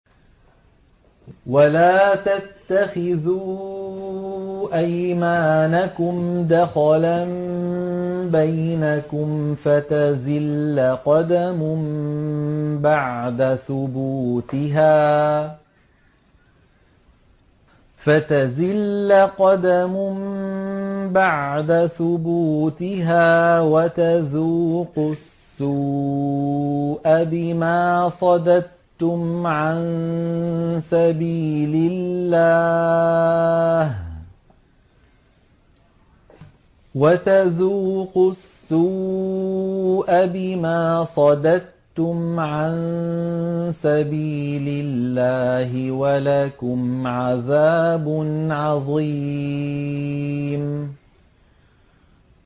وَلَا تَتَّخِذُوا أَيْمَانَكُمْ دَخَلًا بَيْنَكُمْ فَتَزِلَّ قَدَمٌ بَعْدَ ثُبُوتِهَا وَتَذُوقُوا السُّوءَ بِمَا صَدَدتُّمْ عَن سَبِيلِ اللَّهِ ۖ وَلَكُمْ عَذَابٌ عَظِيمٌ